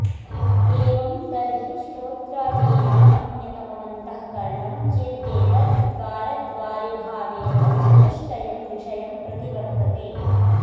एवं तर्हि श्रोत्रादीनामन्यतममन्तःकरणं चेत्येतद् द्वारद्वारिभावेन चतुष्टयं विषयं प्रति वर्तते